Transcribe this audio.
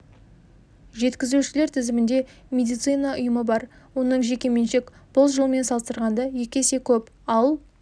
жеткізушілер тізімінде медицина ұйымы бар оның жеке меншік бұл жылмен салыстырғанда екі есе көп ал